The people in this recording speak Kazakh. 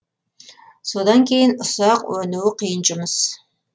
содан кейін ұсақ өнуі қиын жұмыс